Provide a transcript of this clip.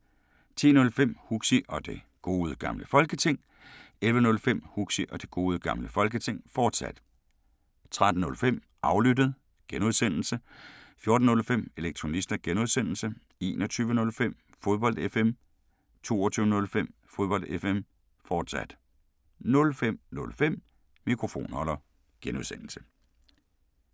10:05: Huxi og Det Gode Gamle Folketing 11:05: Huxi og Det Gode Gamle Folketing, fortsat 13:05: Aflyttet G) 14:05: Elektronista (G) 21:05: Fodbold FM 22:05: Fodbold FM, fortsat 05:05: Mikrofonholder (G)